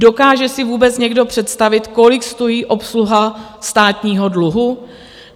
Dokáže si vůbec někdo představit, kolik stojí obsluha státního dluhu?